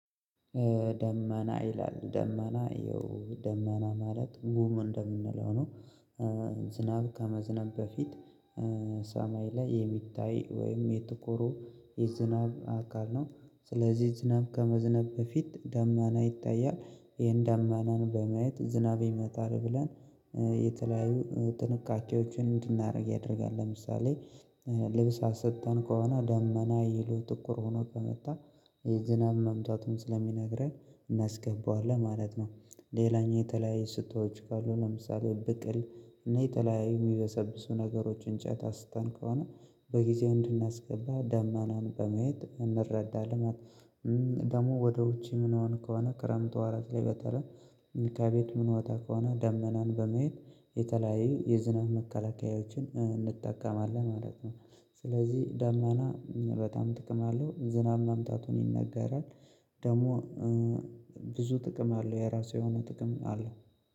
ደመና ይላል ደመና ይኸው ደመና ማለት ጉም እንደምንለው ነው። ዝናብ ከመዝናቡ በፊት ሰማይ ላይ የሚታይ ወይም የጥቁሩ የዝናብ አካል ነው። ስለዚህ ዝናብ ከመዝነቡ በፊት ደማና ይታያል። ይሄን ደመናን በማየት ዝናብ ይመጣል ብለን የተለያዩ ጥንቃቄዎችን እንድናደርግ ያደርጋል። ለምሳሌ ልብስ አስጥተን ከሆነ ደመና ይዞ ጥቁር ሆኖ ከመጣ ዝናብ መምታቱን ስለሚነግረን እናስገባዋለን ማለት ነው። ሌላኛው የተለያየ ስጦዎች ካሉ ለምሳሌ ብቅል እኔ የተለያየ የሚበሰብሱ ነገሮች እንጨት አስጥተን ከሆነ በጊዜው እንድናስገባ ዳመናን በማየት እንረዳለን ማለት። ደግሞ ወደ ውጪ ምንወጣ ከሆነ ክረምት ወራት ላይ በተለይ ከቤት ምንወጣ ከሆነ ደመናን በመሄድ የተለያዩ የዝናብ መከላከያዎችን እንጠቀማለን ማለት ነው። ስለዚህ ዳመና በጣም ጥቅም አለው ዝናብ መምጣቱን ይነገራል። ደግሞ ብዙ ጥቅም አለው የራሱ የሆነ ጥቅም አለው።